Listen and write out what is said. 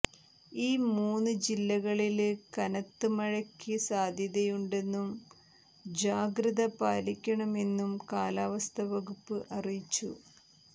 ഈ മൂന്ന് ജില്ലകളില് കനത്ത് മഴയ്ക്ക സാധ്യതയുണ്ടെന്നും ജാഗ്രത പാലിക്കണമെന്നും കാലാവസ്ഥാ വകുപ്പ് അറിയിച്ചു